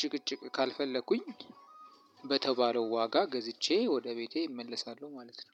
ጭቅጭቅ ካልፈለኩኝ በተባለው ዋጋ ገዝቼ ወደ ቤቴ እመለሳለሁ ማለት ነው።